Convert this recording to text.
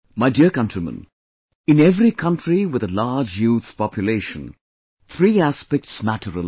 My dear countrymen, in every country with a large youth population, three aspects matter a lot